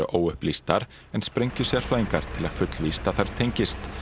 óupplýstar en sprengjusérfræðingar telja fullvíst að þær tengist